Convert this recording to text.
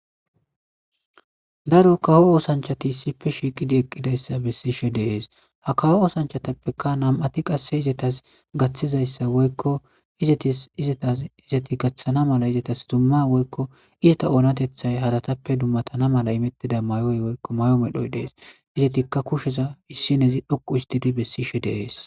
Daro kawo oosanchati sife shiiqidi eqqidayssa bessishe deees ha kawo oosanchatappeka nam7ati qasse izatas gaththizayssa woykko izatis izatas izati gaththana mala izatas dumma woykko izata oonatethay hadatappe dummatana mala imettida mayoy woykko may7o medhoy dees izetikka kusheza issinezi dhoqu istidi bessishe deees